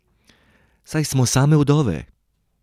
Saj smo same vdove.